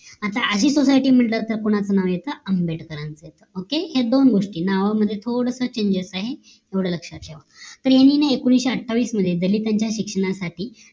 आता कधीतर society म्हटलं तर कोणच नाव येत आंबेडकरांचं OKAY ह्या दोन गोष्टी नावामध्ये थोडस changes आहे एवढं लक्ष्यात ठेवा तरह्यांनी एकोणीशे अठ्ठावीस मध्ये दलितांच्या शिक्षणासाठी